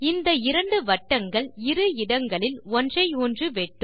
இந்த இரண்டு வட்டங்கள் இரு இடங்களில் ஒன்றையொன்று வெட்டும்